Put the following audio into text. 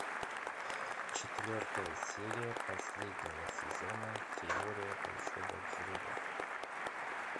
четвертая серия последнего сезона теория большого взрыва